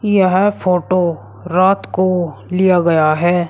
यह फोटो रात को लिया गया हैं।